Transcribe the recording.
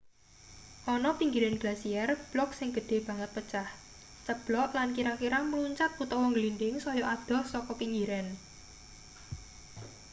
ana pinggiran glasier blok sing gedhe banget pecah ceblok lan kira-kira mluncat utawa ngglindhing saya adoh saka pinggiran